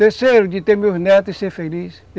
Terceiro, de ter meus netos e ser feliz.